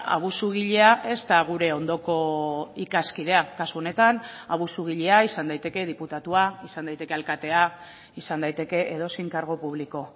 abusugilea ez da gure ondoko ikaskidea kasu honetan abusugilea izan daiteke diputatua izan daiteke alkatea izan daiteke edozein kargu publiko